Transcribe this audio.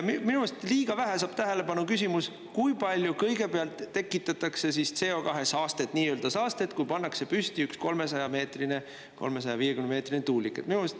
Minu arust liiga vähe saab tähelepanu küsimus, kui palju kõigepealt tekitatakse CO2 saastet, kui pannakse püsti üks kuni 300-meetrine või 350-meetrine tuulik.